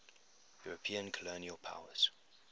european colonial powers